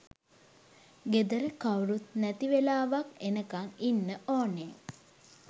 ගෙදර කවුරුත් නැති වෙලාවක් එනකන් ඉන්න ඕනේ.